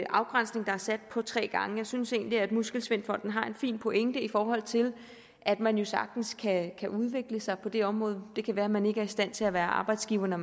afgrænsning der er sat på tre gange jeg synes egentlig at muskelsvindfonden har en fin pointe i forhold til at man jo sagtens kan udvikle sig på det område det kan være man ikke er i stand til at være arbejdsgiver eller